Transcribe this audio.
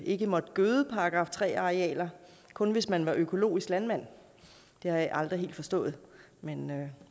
ikke måtte gøde § tre arealer kun hvis man var økologisk landmand det har jeg aldrig helt forstået men